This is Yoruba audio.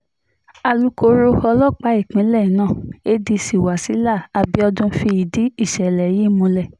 alūkkóró ọlọ́pàá ìpínlẹ̀ náà adc wasila abiodun fìdí ìṣẹ̀lẹ̀ yìí múlẹ̀